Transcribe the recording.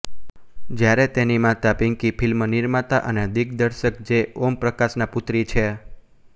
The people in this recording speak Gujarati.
જ્યારે તેની માતા પીંકી ફિલ્મ નિર્માતા અને દિગ્દર્શક જે ઓમ પ્રકાશના પુત્રી છે